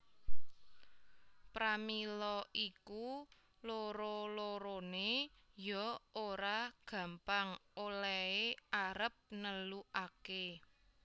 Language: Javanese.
Pramila iku loro loroné ya ora gampang olèhé arep nelukaké